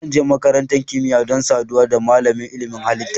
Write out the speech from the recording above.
Zan je makarantar kimiyya don saduwa da malamin ilimin halitta.